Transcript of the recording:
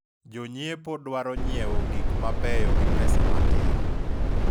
jonyiepo dwaro nyiewo gik mabeyo gi pesa matin